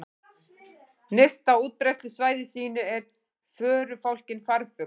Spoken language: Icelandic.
Nyrst á útbreiðslusvæði sínu er förufálkinn farfugl.